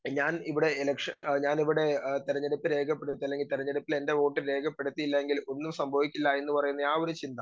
speaker 2 ഞാനിവിടെ election ഞാനിവിടെ ആഹ് തെരഞ്ഞെടുപ്പ് രേഖപ്പെടുത്ത് അല്ലെങ്കി തെരഞ്ഞെടുപ്പിൽ എൻറെ വോട്ട് രേഖപ്പെടുത്തിയില്ലായെങ്കിൽ ഒന്നും സംഭവിക്കില്ല എന്ന് പറയുന്ന ആ ഒരു ചിന്ത